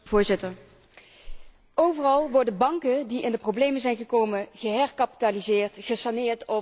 Overal worden banken die in de problemen zijn gekomen geherkapitaliseerd, gesaneerd of zelfs failliet verklaard.